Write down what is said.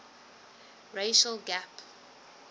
racial gap